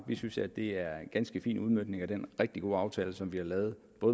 vi synes at det er en ganske fin udmøntning af den rigtig gode aftale som vi har lavet